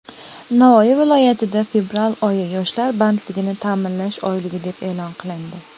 Navoiy viloyatida fevral oyi - "Yoshlar bandligini ta’minlash oyligi" deb e’lon qilindi.